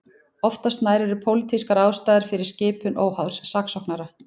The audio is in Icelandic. Oftast nær eru pólitískar ástæður fyrir skipun óháðs saksóknara.